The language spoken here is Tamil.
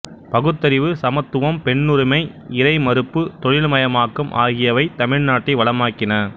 பகுத்தறிவு சமத்துவம் பெண்ணுரிமை இறை மறுப்பு தொழில்மயமாக்கம் ஆகியவை தமிழ்நாட்டை வளமாக்கின